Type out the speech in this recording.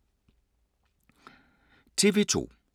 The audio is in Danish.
TV 2